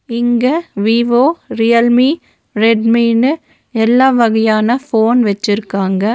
இங்க Vivo Realme ரெட்மினு எல்லா வகையான ஃபோன் வெச்சிருக்காங்க.